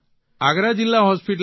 આગ્રા જીલ્લા હોસ્પીટલમાં